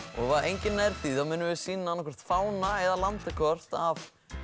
og ef enginn nær því þá munum við sýna annaðhvort fána eða landakort af